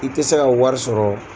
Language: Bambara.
I tɛ se ka wari sɔrɔ.